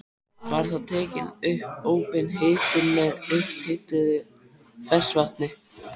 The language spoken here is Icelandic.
Var þá tekin upp óbein hitun með upphituðu ferskvatni.